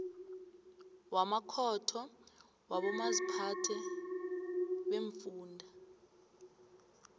wamakhotho wabomaziphathe beemfunda